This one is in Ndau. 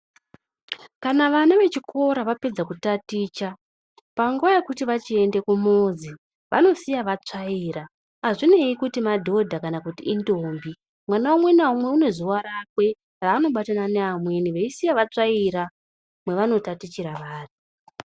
Kana vana vechikora vapedza kutaticha, panguva yekuti vachiende kumuzi vanosiya vatsvaira. Hazvinei kuti madhodha kana indombi, mwana umwe naumwe unezuva rakwe raanobatana neamweni veisiya vatsvaira mwevanotatichira vari.